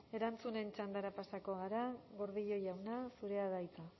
erantzunen txandara pasako gara gordillo jauna zurea da hitza